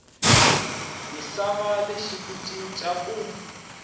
misava lexi ku cinca ku